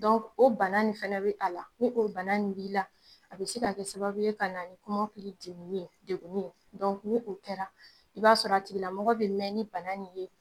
o bana nin fɛnɛ be a la, ni o bana nin b'i la, a bi se ka kɛ sababu ye, ka na ni kɔmɔkili dimi ni ye, degunni ye, ni o kɛra, ib'a sɔrɔ a tigila mɔgɔ bɛ mɛn ni bana nin ye